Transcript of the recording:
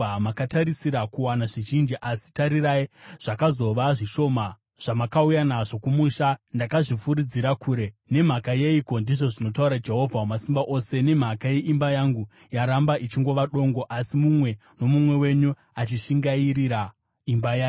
“Makatarisira kuwana zvizhinji, asi tarirai, zvakazova zvishoma. Zvamakauya nazvo kumusha, ndakazvifuridzira kure. Nemhaka yeiko?” ndizvo zvinotaura Jehovha Wamasimba Ose. “Nemhaka yeimba yangu, yaramba ichingova dongo, asi mumwe nomumwe wenyu achishingairira imba yake.